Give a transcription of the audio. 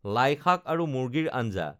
লাইশাক আৰু মুৰ্গীৰ আঞ্জা